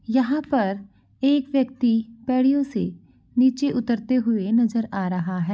यहां पर एक व्यक्ति पारियों से नीचे उतरते हुए नजर आ रहा है।